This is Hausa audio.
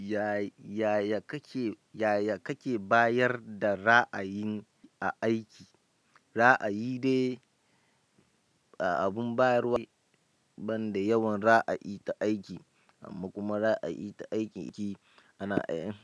Ya-yaya kake, yaya kake bayar da ra'ayin a aiki? Ra'ayi dai abin bayarwa ban da yawan ra'ayi ta aiki, amma kuma ra'ayi ta aiki ce ana yi.